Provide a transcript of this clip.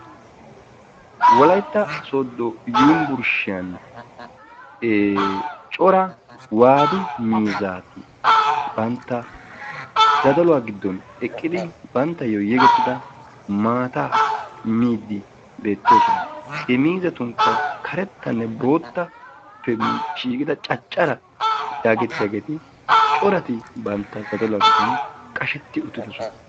Wolaytta soodo yunvurshiyaan ee cora waadu miizzati bantta zadaluwa giddon eqqidi banttayo yegettida maataa miidi beettoosona. He miizzattune karettane boottakko shiqqida caccara yaagettiyageti corati bantta zadaluwaa giddon qashetti uttidosona.